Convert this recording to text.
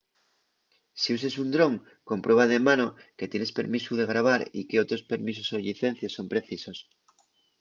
si uses un dron comprueba de mano que tienes permisu de grabar y qué otros permisos o llicencies son precisos